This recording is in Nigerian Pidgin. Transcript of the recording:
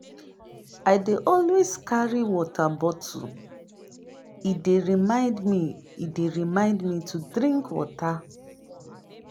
I dey always carry water bottle; e dey remind e dey remind me to drink water.